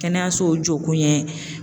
Kɛnɛyasow jɔ kun yɛ